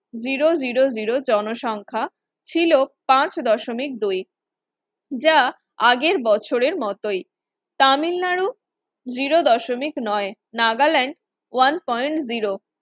zero zero zero জনসংখ্যা ছিল পাঁচ দশমিক দুই যা আগের বছরের মতোই। তামিলনাড়ু zero দশমিক নয় নাগাল্যান্ড one point zero